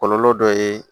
Kɔlɔlɔ dɔ ye